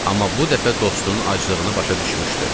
Amma bu dəfə dostunun aclığını başa düşmüşdü.